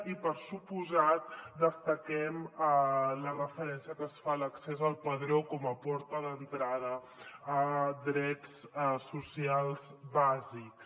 i per descomptat destaquem la referència que es fa a l’accés al padró com a porta d’entrada a drets socials bàsics